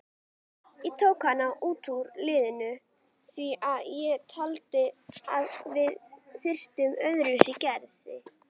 Ég tók hann út úr liðinu því að ég taldi að við þyrftum öðruvísi gæði.